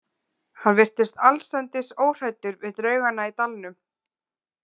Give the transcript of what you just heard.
Hann virtist allsendis óhræddur við draugana í dalnum.